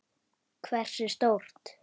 Hversu stórt?